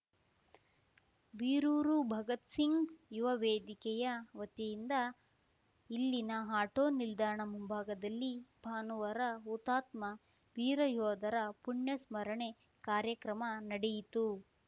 ಬೀರೂರು ಭಗತ್‌ಸಿಂಗ್‌ ಯುವವೇದಿಕೆಯ ವತಿಯಿಂದ ಇಲ್ಲಿನ ಆಟೋ ನಿಲ್ದಾಣ ಮುಂಭಾಗದಲ್ಲಿ ಭಾನುವಾರ ಹುತಾತ್ಮ ವೀರಯೋಧರ ಪುಣ್ಯಸ್ಮರಣೆ ಕಾರ್ಯಕ್ರಮ ನಡೆಯಿತು